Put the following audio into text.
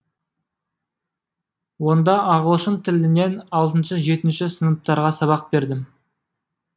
онда ағылшын тілінен алтыншы жетінші сыныптарға сабақ бердім